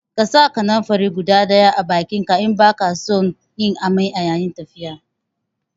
Ƙasa kananfari guda ɗaya a bakinka in baka son yin amai a yayin tafiya